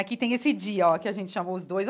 Aqui tem esse dia ó que a gente chamou os dois.